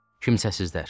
Kimsəsizlər.